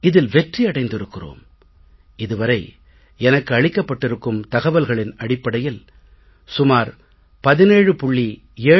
இதில் வெற்றி அடைந்திருக்கிறோம் இது வரை எனக்கு அளிக்கப்பட்டிருக்கும் தகவல்களின் அடிப்படையில் சுமார் 17